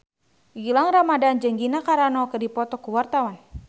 Gilang Ramadan jeung Gina Carano keur dipoto ku wartawan